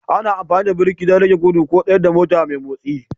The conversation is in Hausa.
Ana amfani da birki don rage gudu ko tsayar da mota mai motsi